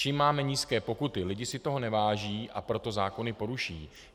Čím máme nižší pokuty, lidé si toho neváží, a proto zákony poruší.